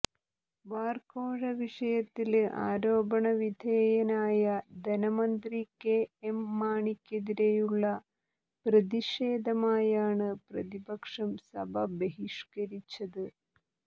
bar കോഴ വിഷയത്തില് ആരോപണ വിധേയനായ ധനമന്ത്രി കെ എം മാണിക്കെതിരെയുള്ള പ്രതിഷേധമായാണ് പ്രതിപക്ഷം സഭ ബഹിഷ്കരിച്ചത്